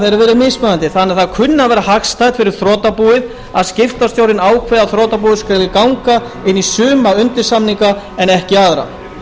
verið mismunandi þannig að það kunni að vera hagstætt fyrir þrotabúið að skiptastjórinn ákveði að þrotabúið skuli ganga inn í suma undirsamninga en ekki aðra